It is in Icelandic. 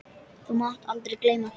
Þú mátt aldrei gleyma því.